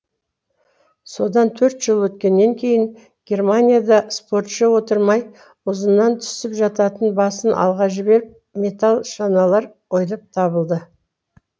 содан төрт жыл өткеннен кейін германияда спортшы отырмай ұзыннан түсіп жататын басын алға жіберіп металл шаналар ойлап табылды